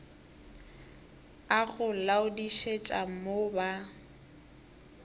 a go laodišetša mo ba